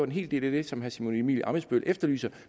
en hel del af det som herre simon emil ammitzbøll efterlyser